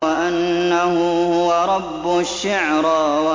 وَأَنَّهُ هُوَ رَبُّ الشِّعْرَىٰ